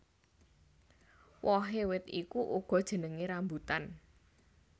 Wohé wit iku uga jenengé rambutan